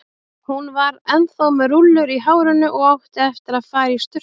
Hún var ennþá með rúllur í hárinu og átti eftir að fara í sturtu.